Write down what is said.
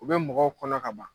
O bɛ mɔgɔw kɔnɔ ka ban